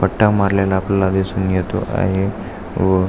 पट्टा मारलेला आपल्याला दिसून येतो आहे व--